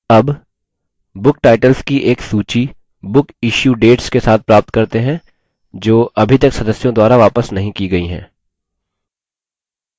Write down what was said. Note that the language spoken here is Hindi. अब book titles की एक सूची book issue dates के साथ प्राप्त करते हैं जो अभी तक सदस्यों द्वारा वापस नहीं की गयी हैं